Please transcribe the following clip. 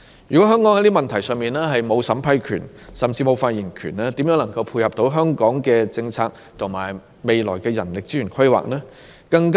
如果香港就這些問題沒有審批權，甚至沒有發言權，試問如何能配合香港的政策和未來的人力資源規劃呢？